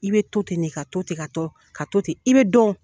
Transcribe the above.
I bɛ to ten de, ka to ten, ka to, ka to ten, i bɛ dɔn.